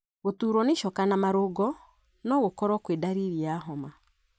Gũturwo nĩ icoka na marũngo no gũkorwo kwĩ ndariri ya homa.